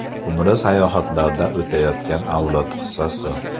Umri sayohatlarda o‘tayotgan avlod qissasi.